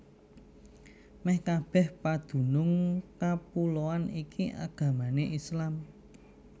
Mèh kabèh padunung kapuloan iki agamané Islam